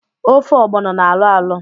Ofe ga-ọgbọno na-alọ alọ